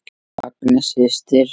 Agnes systir.